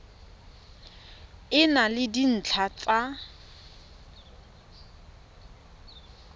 e na le dintlha tsa